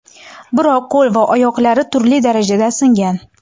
biroq qo‘l va oyoqlari turli darajada singan.